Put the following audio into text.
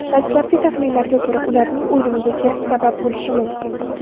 Dastlabki taxminlarga ko‘ra, ularning o‘limiga gaz sabab bo‘lishi mumkin.